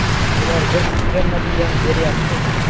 Ular biz kutgan natijani beryapti.